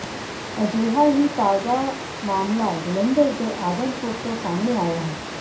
ਅਜਿਹਾ ਹੀ ਤਾਜ਼ਾ ਮਾਮਲਾ ਜਲੰਧਰ ਦੇ ਆਦਮਪੁਰ ਤੋਂ ਸਾਹਮਣੇ ਆਇਆ ਹੈ